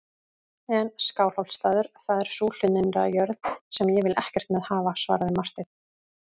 En Skálholtsstaður, það er sú hlunnindajörð sem ég vil ekkert með hafa, svaraði Marteinn.